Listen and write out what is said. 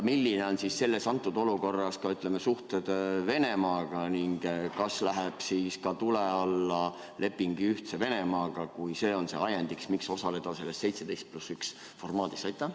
Millised on antud olukorras suhted Venemaaga ning kas läheb tule alla leping Ühtse Venemaaga, kui see on ajendiks, miks osaleda selles 17 + 1 formaadis?